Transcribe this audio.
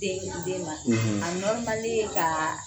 Den in di den ma a ye k'a